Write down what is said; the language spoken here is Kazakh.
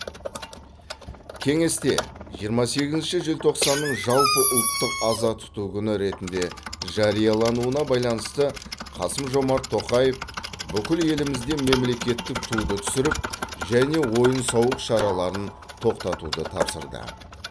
кеңесте жиырма сегізінші желтоқсанның жалпыұлттық аза тұту күні ретінде жариялануына байланысты қасым жомарт тоқаев бүкіл елімізде мемлекеттік туды түсіріп және ойын сауық шараларын тоқтатуды тапсырды